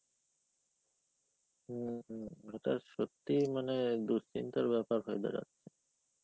হম এটা সত্যি মানে দুশ্চিন্তার ব্যাপার হয়ে দাড়ায়.